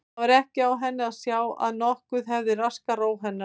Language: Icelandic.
Það var ekki á henni að sjá að nokkuð hefði raskað ró hennar.